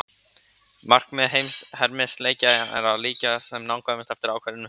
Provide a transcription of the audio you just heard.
Markmið hermileikja hins vegar er að líkja sem nákvæmast eftir ákveðnum hugtökum.